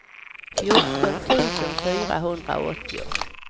fjorton tusen fyrahundraåttio